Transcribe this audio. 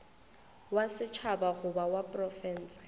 wa setšhaba goba wa profense